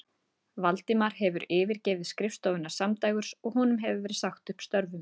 Valdimar hefði yfirgefið skrifstofuna samdægurs og honum hafði verið sagt upp störfum.